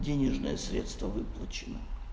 денежные средства выплачены